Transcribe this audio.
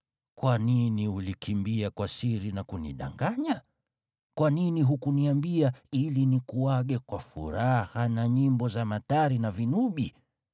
Kwa nini ulikimbia kwa siri na kunidanganya? Kwa nini hukuniambia ili nikuage kwa furaha na nyimbo za matari na vinubi?